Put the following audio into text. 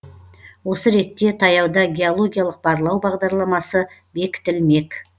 осы ретте таяуда геологиялық барлау бағдарламасы бекітілмек